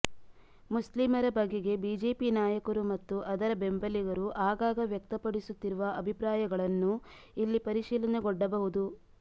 ಮುಸ್ಲಿಮರ ಬಗೆಗೆ ಬಿಜೆಪಿ ನಾಯಕರು ಮತ್ತು ಅದರ ಬೆಂಬಲಿಗರು ಆಗಾಗ ವ್ಯಕ್ತಪಡಿಸುತ್ತಿರುವ ಅಭಿಪ್ರಾಯಗಳನ್ನೂ ಇಲ್ಲಿ ಪರಿಶೀಲನೆಗೊಡ್ಡಬಹುದು